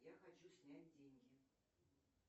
я хочу снять деньги